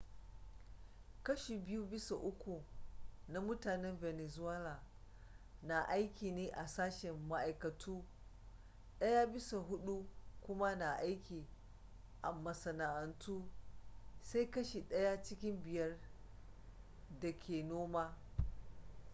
kashi biyu bisa uku na mutanen venezuela na aiki ne a sashen ma’aikatu daya bisa hudu kuma na aiki a masana’antu, sai kashi daya cikin biyar da ke noma